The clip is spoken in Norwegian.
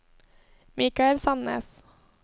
Mikael Sandnes